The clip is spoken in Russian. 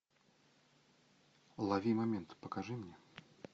лови момент покажи мне